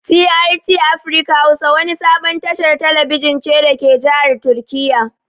TRT afirka hausa wani sabon tashar talabijin ce dake jahar turkiya